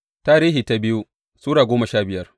biyu Tarihi Sura goma sha biyar